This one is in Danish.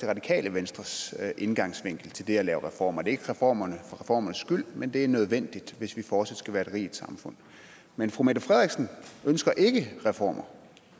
radikale venstres indfaldsvinkel til det at lave reformer det er ikke reformer for reformernes skyld men det er nødvendigt hvis vi fortsat skal være et rigt samfund men fru mette frederiksen ønsker ikke reformer